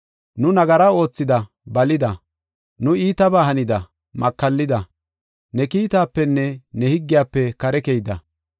nu nagara oothida balida. Nu iitabaa hanida; makallida; ne kiitapenne ne higgiyafe kare keyida.